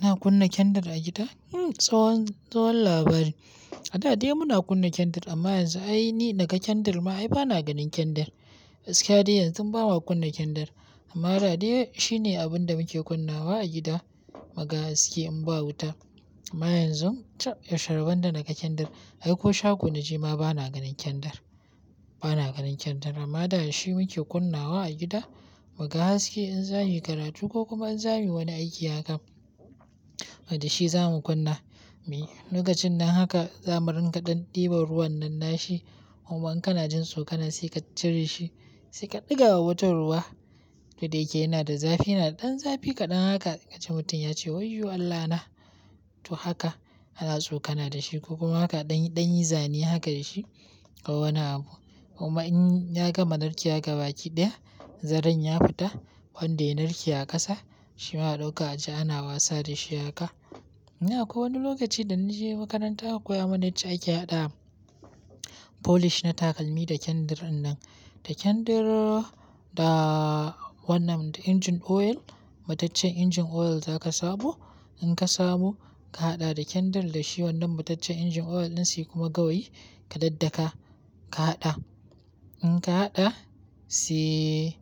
Ina kunna kendir a gida? Hmm, tsohon, tsohon labari. A da dai muna kunna kendir amma yanzu ai ni naga kendir ma ai bana ganin kendir. Gaskiya dai yanzun ba ma kuna kunna kendir. Amma da dai shi ne abin da muke kunnawa a gida, muga haske in ba wuta. Amma yanzu, cab, yaushe rabon da naga kendir, ai ko shago na je ma bana ganin kendir. Bana ganin kendir amma da shi muke kunnawa a gida, muga haske in za muyi karatu ko kuma in za muyi wani aiki haka. Da shi zamu kunna, miyi lokacin nan haka za mu ringa ɗan ɗiban ruwan nan nashi. Kuma in kana jin sokana sai ka cire shi, sai ka ɗiga wa mutum ruwa. Ko da yake yana da zafi, yana da ɗan zafi kaɗan haka kaji mutum yace "wayyo Allahna!" To haka, ana tsokana da shi ko kuma haka ɗan, ɗan yi zane haka da shi ko wani abu. Kuma in ya gama narkewa ga baki ɗaya, zaren ya fita wanda yanarke a ƙasa, shi ma a ɗauka aje ana wasa da shi haka. Dan akwai wani lokaci da na je makaranta aka koyaman yacca ake haɗa polish na takalmi da kendir innan. Da kendir da wannan da engine oil, mataccen engine oil zaka samo. In ka saɓo, ka haɗa da kendar da shi wannan mataccen engine oil ɗin sai kuma gawayi ka daddaka, ka haɗa. In ka haɗa sai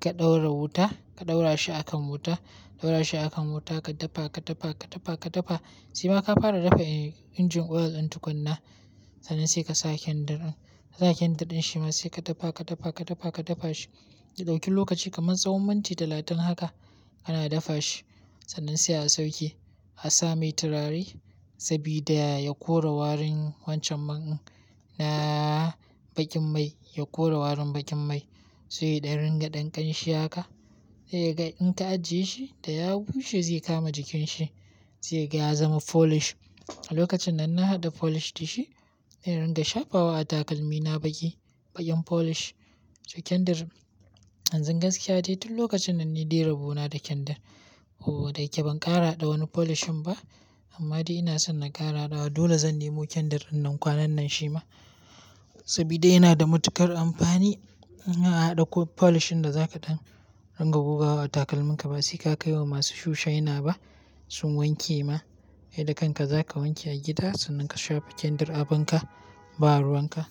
ka ɗaura wuta, ka ɗaura shi akan wuta, ɗaura shi akan wuta ka dafa, ka dafa, ka dafa, ka dafa sai ma ka fara dafa engine oil ɗin tukuna. Sannan sai ka sa kendir in, kasa kendir in shi ma sai ka dafa, ka dafa, ka dafa, ka dafa shi. Ya ɗauki lokaci kaman tsawon minti talatin haka kana dafa shi. Sannan sai a sauke, a sa mai turare sabida ya kora warin wancan man na bakin mai, ya kora warin bakin mai. Sai ya dan ringa ɗan ƙanshi haka. Sa kaga in ka ajiye shi, da ya bushe zai kama jikin shi. Sai ga ya zama polish. A lokacin nan na haɗa polish da shi, dan in ringa shafawa a takalmi na baki, bakin polish. Kendir, yanzu gaskiya dai tun lokacin nan ni dai rabona da kendir. Oh da yake ban ƙara haɗa wani polish in ba, amma dai ina son na ƙara hada wa. Dole zan nemo kendir innan kwanan nan shi ma, sabida yana da matuƙar amfani. In an haɗa ko polish din da zaka ɗan ringa gogawa a takalminka ba sai ka kai wa masu shu shaina ba sun wanke ma. Kai da kanka zaka wanke a gida sannan ka shafa kendir abin ka ba ruwan ka.